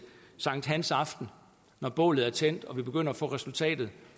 sankthansaften når bålet er tændt og vi begynder at få resultatet